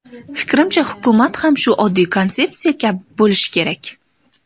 Fikrimcha, hukumat ham shu oddiy konsepsiya kabi bo‘lishi kerak.